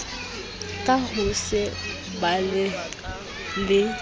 ka ho se balehe le